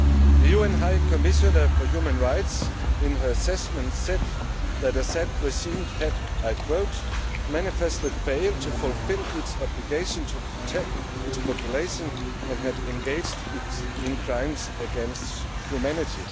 The UN High Commissioner for Human Rights in her assessment said that the Assad regime had manifestly failed' to fulfil its obligation to protect its population and had engaged in crimes against humanity.